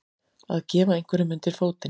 Að gefa einhverjum undir fótinn